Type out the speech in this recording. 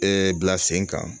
Ɛɛ bila sen kan